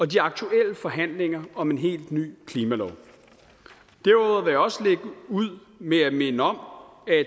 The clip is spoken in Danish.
de aktuelle forhandlinger om en helt ny klimalov derudover vil jeg også lægge ud med at minde om at